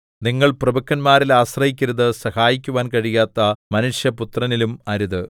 നിങ്ങൾ പ്രഭുക്കന്മാരിൽ ആശ്രയിക്കരുത് സഹായിക്കുവാൻ കഴിയാത്ത മനുഷ്യപുത്രനിലും അരുത്